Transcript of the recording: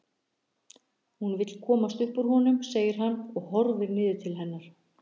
Hún vill komast upp úr honum segir hann og horfir niður til hennar.